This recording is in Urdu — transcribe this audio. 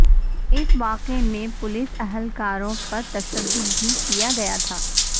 اس واقعہ میں پولیس اہلکاروں پر تشدد بھی کیا گیا تھا